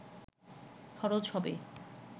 খরচ হবে